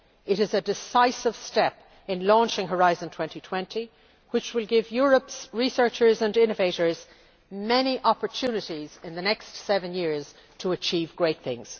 It is a decisive step in launching Horizon 2020, which will give Europe's researchers and innovators many opportunities in the next seven years to achieve great things.